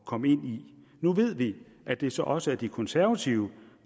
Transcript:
komme ind i nu ved vi at det så også er de konservative